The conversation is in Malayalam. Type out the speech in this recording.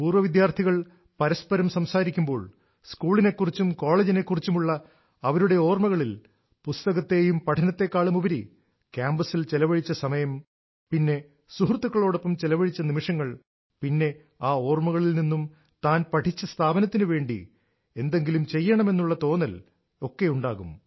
പൂർവ വിദ്യാർഥികൾ പരസ്പരം സംസാരിക്കുമ്പോൾ സ്കൂളിനെക്കുറിച്ചും കോളേജിനെക്കുറിച്ചുമുള്ള അവരുടെ ഓർമ്മകളിൽ പുസ്തകത്തെയും പഠനത്തെക്കാളുമുപരി ക്യാമ്പസിൽ ചെലവഴിച്ച സമയം പിന്നെ സുഹൃത്തുക്കളോടൊപ്പം ചെലവഴിച്ച നിമിഷങ്ങൾ പിന്നെ ആ ഓർമകളിൽ നിന്നും താൻ പഠിച്ച സ്ഥാപനത്തിനു വേണ്ടി എന്തെങ്കിലും ചെയ്യണമെന്നുള്ള തോന്നൽ ഒക്കെ ഉണ്ടാകും